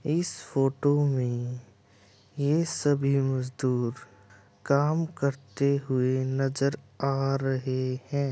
इस फोटो में ये सभी मस्ज्दुर काम करते हुए नजर आ रहे है।